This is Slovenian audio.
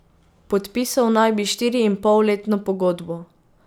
Podpisal naj bi štiriinpolletno pogodbo.